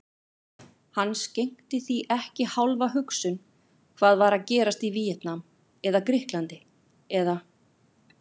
Hann skenkti því ekki hálfa hugsun hvað var að gerast í Víetnam eða Grikklandi eða